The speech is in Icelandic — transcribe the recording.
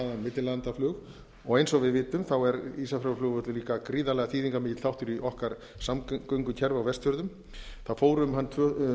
millilandaflug og eins og við vitum er ísafjarðarflugvöllur líka gríðarlega mikill þáttur í okkar samgöngukerfi á vestfjörðum það fór um hann árið tvö